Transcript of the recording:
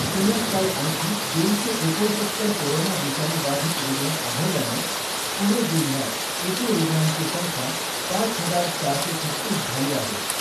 पुण्यात काल आणखी दोनशे एकोणसत्तर कोरोना विषाणू बाधित रुग्ण आढळल्यानं पुणे जिल्ह्यात एकूण रुग्णांची संख्या पाच हजार चारशे छत्तीस झाली आहे .